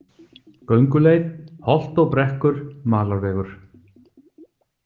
Gönguleið: holt og brekkur, malarvegur.